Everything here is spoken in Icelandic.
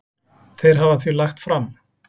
Þeir hafa því lagt fram